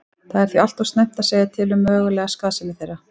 Það er því allt of snemmt að segja til um mögulega skaðsemi þeirra.